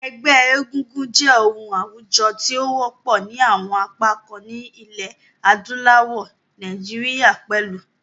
Ẹgbẹ́ egúngún jẹ́ oun àwùjo ti o wọ́pọ̀ ni àwon apá kan nílẹ̀ adúláwò, Naijiria pẹ̀lu.